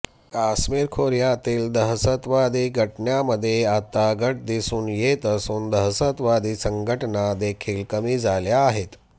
काश्मीर खोऱयातील दहशतवादी घटनांमध्ये आता घट दिसून येत असून दहशतवादी संघटना देखील कमी झाल्या आहेत